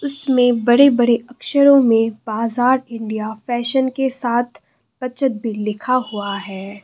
इसमें बड़े बड़े अक्षरों में बाजार इंडिया फैशन के साथ बचत भी लिखा हुआ है।